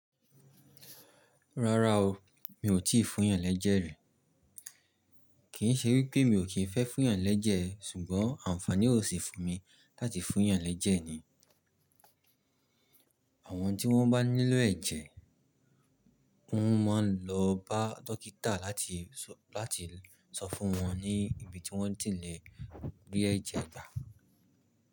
Rárá o, mi ò tíì fún yàn lẹ́jẹ̀ rí. Kì í ṣe wípé mi ò kí ń fẹ́ fún yàn lẹ́jẹ̀, ṣùgbọ́n àǹfààní ò sì fún mi láti fún yàn lẹ́jẹ̀ ni. Àwọn tí wọ́n bá nílò ẹ̀jẹ̀, wọ́n máa ń lọ bá dókítà láti sọ fún wọn ní ibi tí wọ́n ti le rí ẹ̀jẹ̀ gbà.